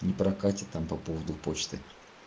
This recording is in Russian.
не прокатит там по поводу почты